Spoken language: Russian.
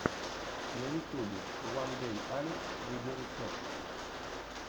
на ютьюбе уандэйалекс видеорецепт